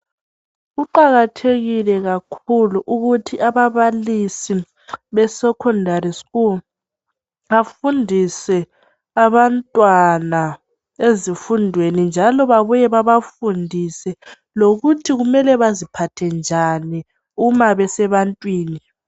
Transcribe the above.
Kuqakathekile kakhulu ukuthi ababalisi be sekhondari sikulu bafundise abantwana ezifundweni, njalo babuye babafundise lokuthi baziphathe njani nxa besebantwini.